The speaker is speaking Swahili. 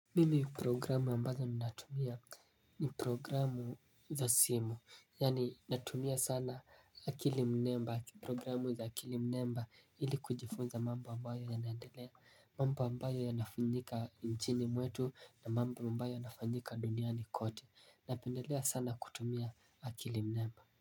Mimi programu ambazo minatumia ni programu za simu Yani natumia sana akili mnemba programu za akili mnemba ili kujifunza mambo ambayo yanaendelea mambo ambayo yanafunyika nchini mwetu na mambo ambayo yanafunyika duniani kote Napendelea sana kutumia akili mnemba.